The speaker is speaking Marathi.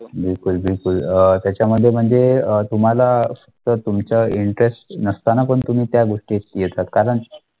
बिलकुल बिलकुलअं त्याच्यामध्ये म्हणजे अं तुम्हाला तर तुमचा interest नसताना पण त्या गोष्टीत येतात, कारण